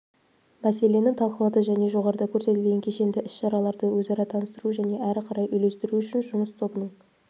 мәселені талқылады және жоғарыда көрсетілген кешендііс-шараларды өзара таныстыру және әрі қарай үйлестіру үшін жұмыс тобының